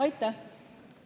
Aitäh!